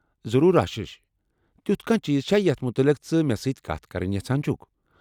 ضروٗر آشیٖش، تیُتھ کانٛہہ چیٖز چھا یتھ متعلق ژٕ مےٚ سۭتۍ کتھ کرٕنۍ یژھان چُھكھ ؟